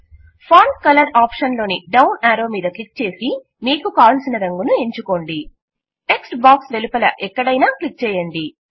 font colour ఆప్షన్లోని down arrow మీద క్లిక్చేసి మీకు కావలసిన రంగును ఎంచుకోండి టెక్ట్ బాక్స్ వెలుపల ఎక్కడైనా క్లిక్ చేయండి